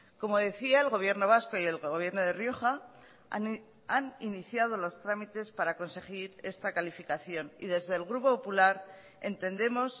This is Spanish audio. como decía el gobierno vasco y el gobierno de rioja han iniciado los trámites para conseguir esta calificación y desde el grupo popular entendemos